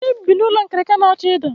Anyị bi n'ụlọ nkirika na-achọ ịda.